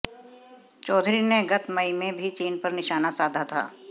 चौधरी ने गत मई में भी चीन पर निशाना साधा था